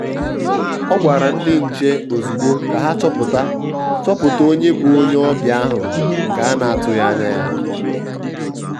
ọ̀ gwàrà ndị nche ozùgbò ka ha chọpụta chọpụta onye bụ onye ọbịa ahụ nke a na-atụghị anya ya.